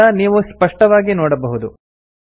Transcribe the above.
ಇದರಿಂದ ನೀವು ಸ್ಪಷ್ಟವಾಗಿ ನೋಡಬಹುದು